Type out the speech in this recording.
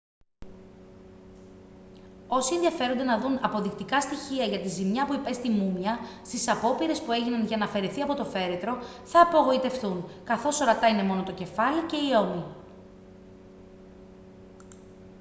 όσοι ενδιαφέρονται να δουν αποδεικτικά στοιχεία για τη ζημιά που υπέστη η μούμια στις απόπειρες που έγιναν για να αφαιρεθεί από το φέρετρο θα απογοητευτούν καθώς ορατά είναι μόνο το κεφάλι και οι ώμοι